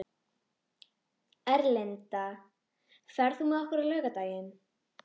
Erlinda, ferð þú með okkur á laugardaginn?